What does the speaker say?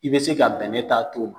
I bɛ se ka bɛnɛ ta to